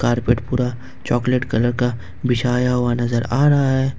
Carpet पूरा chocolate colour का बिछाया हुआ नज़र आ है।